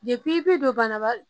i bi don banabaa